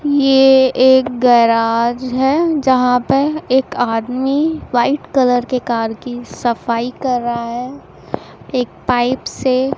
ये एक गैराज है जहां पर एक आदमी व्हाइट कलर के कार की सफाई कर रहा है एक पाइप से--